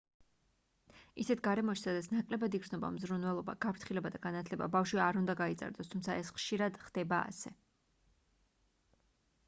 ისეთ გარემოში სადაც ნაკლებად იგრძნობა მზრუნველობა გაფრთხილება და განათლება ბავშვი არ უნდა გაიზარდოს თუმცა ეს ხშირად ხდება ასე